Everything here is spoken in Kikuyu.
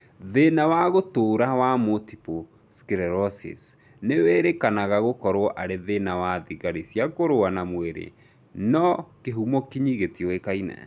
Thĩna wa gũtũra wa Multiple sclerosis nĩwĩrĩkanaga gũkorwo arĩ thĩna wa thigari cia kũrũa na mwĩrĩ no kĩhumo kinyi gĩtiũĩkaine